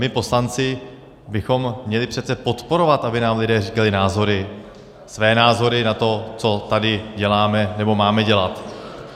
My poslanci bychom měli přece podporovat, aby nám lidé říkali názory, své názory na to, co tady děláme nebo máme dělat.